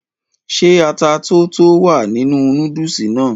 ṣé ata tó tó wà nínú núdùsì náà?